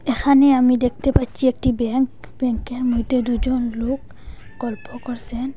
এখানে আমি দেখতে পাচ্চি একটি ব্যাংক ব্যাংক এর মইদ্যে দুজন লোক গল্প করসেন।